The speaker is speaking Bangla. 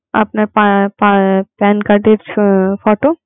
আপনার প্য~ প্য~ pan card এর photo